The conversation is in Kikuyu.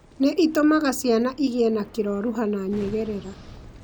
nĩ ũtũmaga ciana igĩe na kĩroruha na nyegerera.